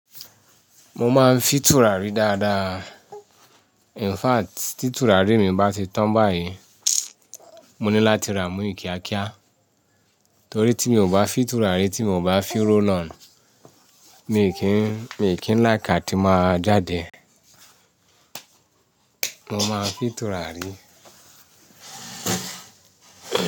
Mo máa ń fi turarí dáadáa. In fact, tí tùràrí mi bá ti tán báyìí, mo ní láti ra ì míì ìkíákíá, torí tí mi ò bá fì tùràrí tí mo ò bá fì roll on, mi kì í, mi kì í ń like àti máa jáde. Mo máa ń fì tùràrí.